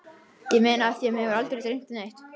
Ég meina af því mig hefur aldrei dreymt neitt.